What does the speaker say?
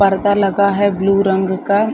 पर्दा लगा है ब्लू रंग का।